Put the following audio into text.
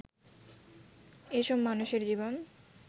এসব মানুষের জীবন